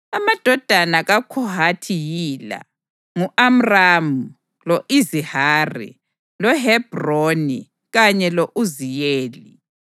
Amadodana kaKhohathi yila: ngu-Amramu, lo-Izihari, loHebhroni kanye lo-Uziyeli.